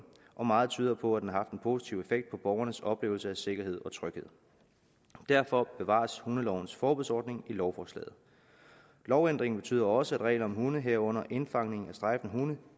og meget tyder på at den har haft en positiv effekt på borgernes oplevelse af sikkerhed og tryghed derfor bevares hundelovens forbudsordning i lovforslaget lovændringen betyder også at regler om hunde herunder indfangning at strejfende hunde